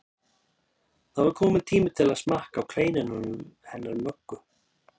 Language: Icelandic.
Það var kominn tími til að smakka á kleinunum hennar Möggu.